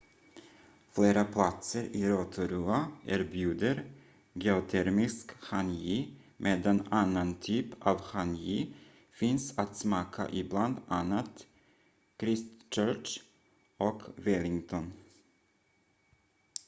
flera platser i rotorua erbjuder geotermisk hangi medan annan typ av hangi finns att smaka i bland annat christchurch och wellington